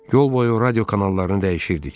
Yol boyu radio kanallarını dəyişirdik.